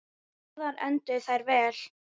Báðar enduðu þær vel.